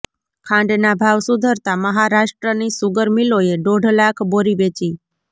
ખાંડના ભાવ સુધરતા મહારાષ્ટ્રની શુગર મિલોએ દોઢ લાખ બોરી વેચી